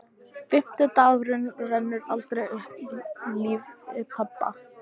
Fimmti dagurinn rennur aldrei aftur upp í lífi pabba.